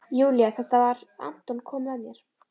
Júlía: Þetta var- Anton kom með mér.